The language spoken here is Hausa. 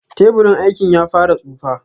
Teburin aikin ya fara tsufa.